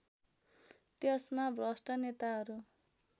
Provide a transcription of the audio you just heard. त्यसमा भ्रष्ट नेताहरू